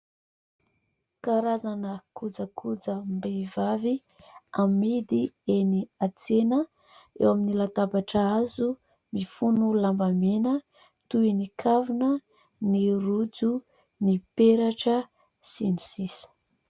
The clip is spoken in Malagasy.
Karazana kojakojam-behivavy amidy eny an-tsena eo amin'ny latabatra hazo mifono lambamena toy : ny kavina, ny rojo ,ny peratra sy ny sisa.